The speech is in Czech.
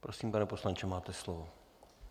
Prosím, pane poslanče, máte slovo.